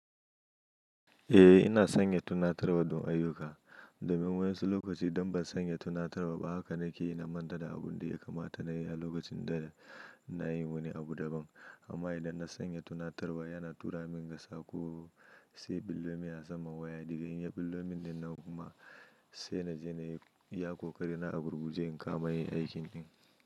Eh ina sanya tunatarwa don ayyuka domin wa'insu lokaci idon ban sanya tunatarwa ba haka nake yi na manta da abun da ya kamata na yi a lokacin da na yi wani abu daban. Amma idan na sanya tunatarwa yana tura min sako sai billo min a saman waya, daga inya billo min dinnan kuma sai na je na yi iya kokari na agurguje in kama yin aikin ɗin.